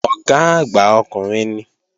Ọ̀gá àgbà ọkùnrin ni